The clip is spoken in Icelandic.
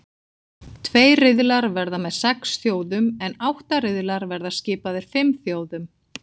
Tveir riðlar verða með sex þjóðum en átta riðlar verða skipaðir fimm þjóðum.